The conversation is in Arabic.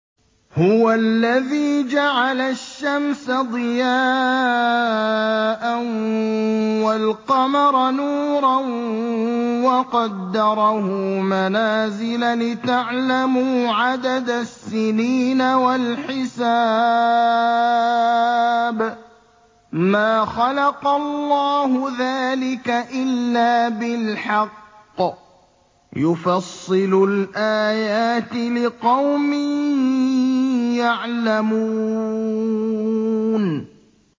هُوَ الَّذِي جَعَلَ الشَّمْسَ ضِيَاءً وَالْقَمَرَ نُورًا وَقَدَّرَهُ مَنَازِلَ لِتَعْلَمُوا عَدَدَ السِّنِينَ وَالْحِسَابَ ۚ مَا خَلَقَ اللَّهُ ذَٰلِكَ إِلَّا بِالْحَقِّ ۚ يُفَصِّلُ الْآيَاتِ لِقَوْمٍ يَعْلَمُونَ